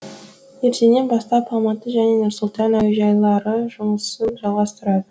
ертеңнен бастап алматы және нұр сұлтан әуежайлары жұмысын жалғастырады